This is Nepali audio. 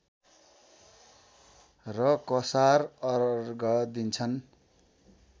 र कसार अर्घ दिन्छन्